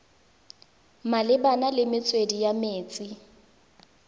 malebana le metswedi ya metsi